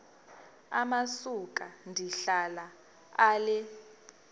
amasuka ndihlala ale